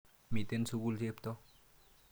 Miten sukul Cheptoo.